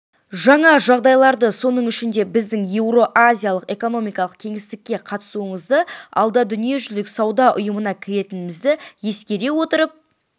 жаңа жағдайларды соның ішінде біздің еуразиялық экономикалық кеңістікке қатысуымызды алда дүниежүзілік сауда ұйымына кіретінімізді ескере отырып